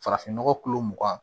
Farafinnɔgɔ mugan